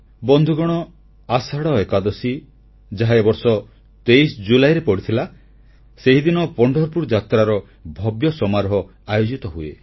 ବନ୍ଧୁଗଣ ଆଷାଢ଼ ଏକାଦଶୀ ଯାହା ଏ ବର୍ଷ 23 ଜୁଲାଇରେ ପଡ଼ିଥିଲା ସେହିଦିନ ପଣ୍ଢରପୁର ଯାତ୍ରାର ଭବ୍ୟ ସମାରୋହ ଆୟୋଜିତ ହୁଏ